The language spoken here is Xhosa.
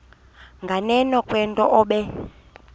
nganeno kwento obe